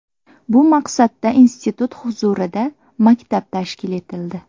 Bu maqsadda institut huzurida maktab tashkil etildi.